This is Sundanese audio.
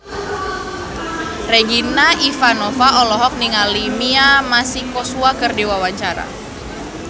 Regina Ivanova olohok ningali Mia Masikowska keur diwawancara